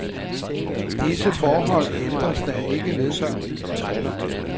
Disse forbehold ændres der ikke ved.